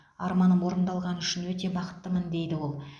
арманым орындалғаны үшін өте бақыттымын дейді ол